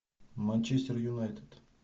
манчестер юнайтед